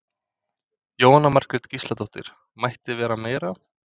Jóhanna Margrét Gísladóttir: Mætti vera meiri?